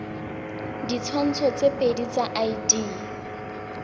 ditshwantsho tse pedi tsa id